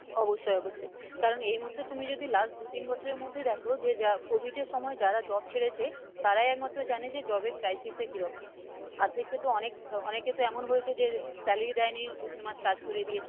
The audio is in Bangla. অবশ্যই অবশ্যই কারণ এই মুহুর্তে তুমি যদি last দু তিন বছরের মধ্যে দেখো যে যা COVID এর সময় যারা job ছেড়েছে, তারাই একমাত্র জানে যে job এর crisis টা কীরকম, আর্ধেক কে তো অনেক আহ অনেকের তো এমন হয়েছে যে salary দেইনি দু তিন মাস কাজ করিয়ে দিয়েছে,